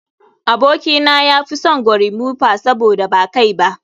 Abokina ya fi son gorimofa saboda ba kai ba